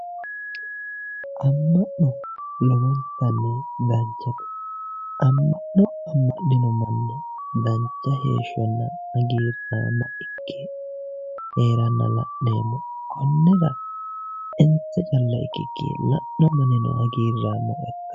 Amma'no lowontanni danchate amma'nino manna dancha heeshshonna hagiirraamma ikke heeranna la'neemmo konni daafira insa calla ikkikkii la'no mannino hagiirraamma ikkanno